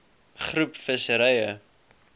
groep visserye